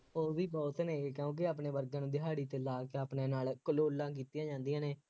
ਹੀ ਬਹੁਤ ਨੇ ਇਹ, ਕਿਉਂਕਿ ਆਪਣੇ ਵਰਗਿਆਂ ਨੂੰ ਦਿਹਾੜੀ ਤੇ ਲਾ ਕੇ ਆਪਣੇ ਨਾਲ ਕਲੋਲਾਂ ਕੀਤੀਆਂ ਜਾਂਦੀਆਂ ਨੇ